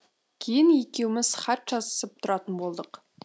кейін екеуміз хат жазысып тұратын болдық